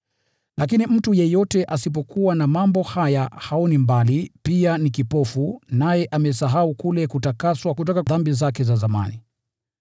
Lakini mtu yeyote asipokuwa na mambo haya haoni mbali, na ni kipofu, naye amesahau kule kutakaswa kutoka dhambi zake za zamani.